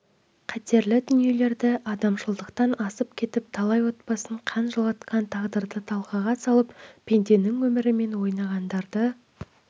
қатерлі дүниелерді адамшылықтан асып кетіп талай отбасын қан жылатқан тағдырды талқыға салып пенденің өмірімен ойнағандарды